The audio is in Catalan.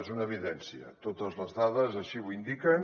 és una evidència totes les dades així ho indiquen